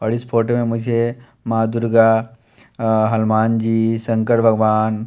और इस फोटो में मुझे माँ दुर्गा हनुमान जी शंकर भगवान--